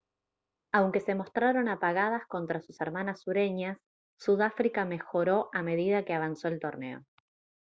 aunque se mostraron apagadas contra sus hermanas sureñas sudáfrica mejoró a medida que avanzó el torneo